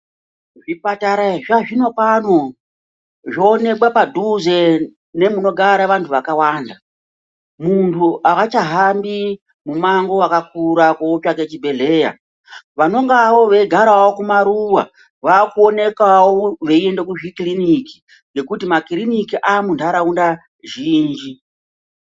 Zvipatara zvazvino pano zvoonekwa padhuze nemunogara vantu vakawanda. Muntu aachahambi mumango wakakura kotsvaka chibhedhleya. Vanengewo veigarawo kumaruwa vakuonekawo veiende kuzvikiriniki nekuti makiriniki aamuntaraunda zhinji.